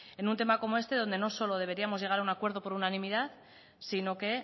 en un tema como este donde no solo deberíamos llegar a un acuerdo por unanimidad sino que